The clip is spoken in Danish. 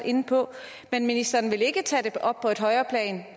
inde på vil ministeren ikke tage det op på et højere plan